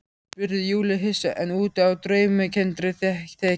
spurði Júlía hissa, enn úti á draumkenndri þekju.